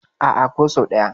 A'a, ko sau ɗaya.